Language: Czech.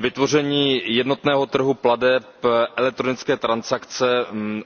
Vytvoření jednotného trhu plateb, elektronické transakce,